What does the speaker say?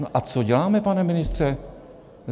No a co děláme, pane ministře?